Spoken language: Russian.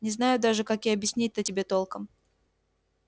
не знаю даже как и объяснить-то тебе толком